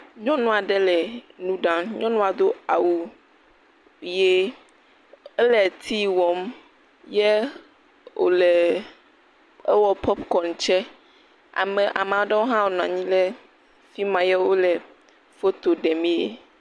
Nyɔnu aɖe le nu ɖam. Nyɔnua do awu ʋie. Ele tea wɔm ye wòle ewɔ popikɔŋ tsɛ. Ame ame aɖewo hã nɔ anyi le fi ma ye wole foto ɖemee.